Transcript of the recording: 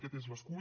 aquest és l’escull